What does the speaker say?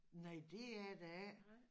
Nej dét er der ikke